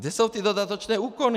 Kde jsou ty dodatečné úkony?